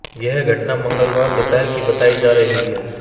यह घटना मंगलवार दोपहर की बताई जा रही है